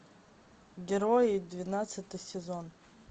герои двенадцатый сезон